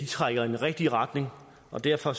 trækker i den rigtige retning og derfor